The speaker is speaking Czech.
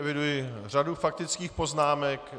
Eviduji řadu faktických poznámek.